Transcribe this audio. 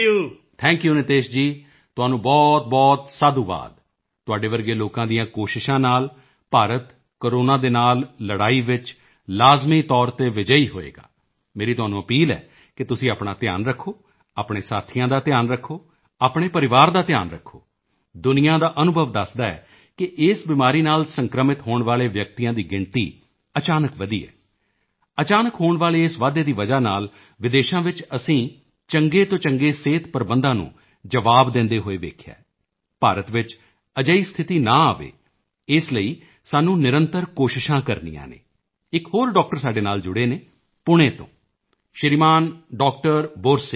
thank you Nitesh ji ਤੁਹਾਨੂੰ ਬਹੁਤਬਹੁਤ ਸਾਧੁਵਾਦ ਤੁਹਾਡੇ ਵਰਗੇ ਲੋਕਾਂ ਦੀਆਂ ਕੋਸ਼ਿਸ਼ਾਂ ਨਾਲ ਭਾਰਤ ਕੋਰੋਨਾ ਦੇ ਨਾਲ ਲੜਾਈ ਵਿੱਚ ਲਾਜ਼ਮੀ ਤੌਰ ਤੇ ਵਿਜੇਯੀ ਹੋਵੇਗਾ ਮੇਰੀ ਤੁਹਾਨੂੰ ਅਪੀਲ ਹੈ ਕਿ ਤੁਸੀਂ ਆਪਣਾ ਧਿਆਨ ਰੱਖੋ ਆਪਣੇ ਸਾਥੀਆਂ ਦਾ ਧਿਆਨ ਰੱਖੋ ਆਪਣੇ ਪਰਿਵਾਰ ਦਾ ਧਿਆਨ ਰੱਖੋ ਦੁਨੀਆਂ ਦਾ ਅਨੁਭਵ ਦੱਸਦਾ ਹੈ ਕਿ ਇਸ ਬਿਮਾਰੀ ਨਾਲ ਸੰਕ੍ਰਮਿਤ ਹੋਣ ਵਾਲੇ ਵਿਅਕਤੀਆਂ ਦੀ ਗਿਣਤੀ ਅਚਾਨਕ ਵਧੀ ਹੈ ਅਚਾਨਕ ਹੋਣ ਵਾਲੇ ਇਸ ਵਾਧੇ ਦੀ ਵਜ੍ਹਾ ਨਾਲ ਵਿਦੇਸ਼ਾਂ ਵਿੱਚ ਅਸੀਂ ਚੰਗੇ ਤੋਂ ਚੰਗੇ ਸਿਹਤ ਪ੍ਰਬੰਧਾਂ ਨੂੰ ਜਵਾਬ ਦਿੰਦੇ ਹੋਏ ਦੇਖਿਆ ਹੈ ਭਾਰਤ ਵਿੱਚ ਅਜਿਹੀ ਸਥਿਤੀ ਨਾ ਆਵੇ ਇਸ ਦੇ ਲਈ ਸਾਨੂੰ ਨਿਰੰਤਰ ਕੋਸ਼ਿਸ਼ਾਂ ਕਰਨੀਆਂ ਹਨ ਇੱਕ ਹੋਰ ਡਾਕਟਰ ਸਾਡੇ ਨਾਲ ਜੁੜੇ ਹਨ ਪੂਣੇ ਤੋਂ ਸ਼੍ਰੀਮਾਨ ਡਾਕਟਰ ਬੋਰਸੇ